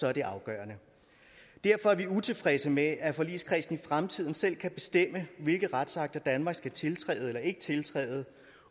er det afgørende derfor er vi utilfredse med at forligskredsen i fremtiden selv kan bestemme hvilke retsakter danmark skal tiltræde eller ikke tiltræde